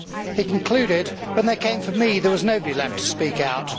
He concluded, When they came for me, there was nobody left to speak out.'